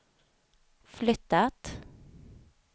flyttat